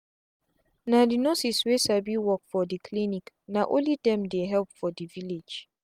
na the nurses wey sabi work for the clinic na only dem dey help for the village.